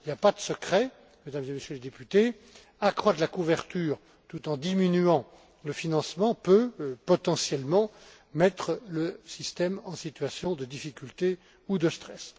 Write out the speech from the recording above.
Il n'y a pas de secret, Mesdames et Messieurs les députés, accroître la couverture tout en diminuant le financement risque, potentiellement, de mettre le système en situation de difficulté ou de stress.